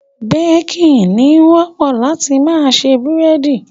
Baking, ni wọ́pọ̀ láti ma se búrẹ́dí